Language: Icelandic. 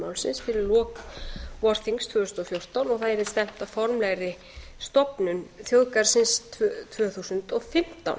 málsins fyrir lok vorþings tvö þúsund og fjórtán og það yrði stefnt að formlegri stofnun þjóðgarðsins tvö þúsund og fimmtán